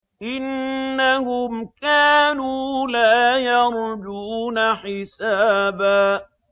إِنَّهُمْ كَانُوا لَا يَرْجُونَ حِسَابًا